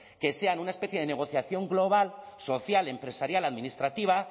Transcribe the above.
que sean una especie de negociación global social empresarial administrativa